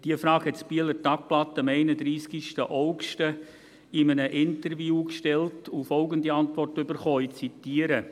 – Diese Frage stellte das «Bieler Tagblatt» am 31. August 2019 in einem Interview und erhielt folgende Antwort, ich zitiere: